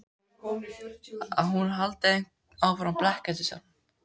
Að hún haldi áfram að blekkja sjálfa sig.